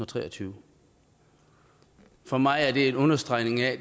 tre og tyve for mig er det en understregning af